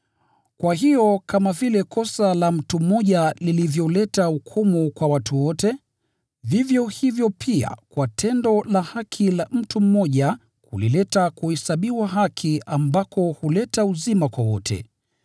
Kwa hiyo, kama vile kosa la mtu mmoja lilivyoleta adhabu kwa watu wote, vivyo hivyo pia kwa tendo la haki la mtu mmoja lilileta kuhesabiwa haki ambako huleta uzima kwa wote.